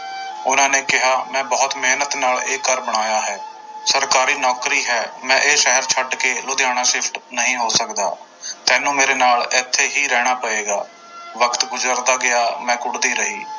ਉਹਨਾਂ ਨੇ ਕਿਹਾ ਮੈਂ ਬਹੁਤ ਮਿਹਨਤ ਨਾਲ ਇਹ ਘਰ ਬਣਾਇਆ ਹੈ ਸਰਕਾਰੀ ਨੌਕਰੀ ਹੈ ਮੈਂ ਇਹ ਸ਼ਹਿਰ ਛੱਡ ਕੇ ਲੁਧਿਆਣਾ shift ਨਹੀਂ ਹੋ ਸਕਦਾ ਤੈਨੂੰ ਮੇਰੇ ਨਾਲ ਇੱਥੇ ਹੀ ਰਹਿਣਾ ਪਏਗਾ ਵਕਤ ਗੁਜ਼ਰਦਾ ਗਿਆ ਮੈਂ ਘੁੱਟਦੀ ਰਹੀ।